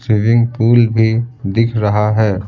Swimming pool भी दिख रहा है।